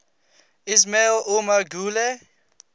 ismail omar guelleh